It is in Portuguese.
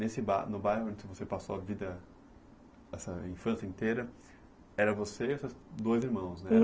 Nesse bar no bairro, onde você passou a vida, essa infância inteira, era você e seus dois irmãos, né?